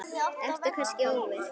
Ertu kannski ofvirk?